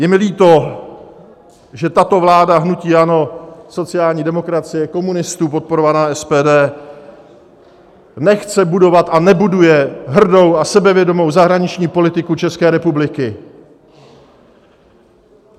Je mi líto, že tato vláda hnutí ANO, sociální demokracie, komunistů podporovaná SPD nechce budovat a nebuduje hrdou a sebevědomou zahraniční politiku České republiky.